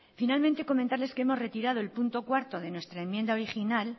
finalmente comentarles que hemos retirado el punto cuarto de nuestra enmienda original